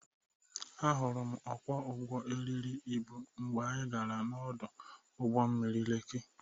Ahụrụ m ọkwọ ụgbọ eriri ịbụ mgbe anyị gara ọdụ ụgbọ mmiri Lekị